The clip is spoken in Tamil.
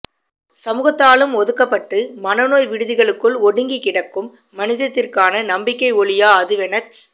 சமூகத்தாலும் ஒதுக்கப்பட்டு மனநோய் விடுதிகளுக்குள் ஒடுங்கிக் கிடைக்கும் மனிதத்திற்கான நம்பிக்கை ஒளியா அதுவெனச்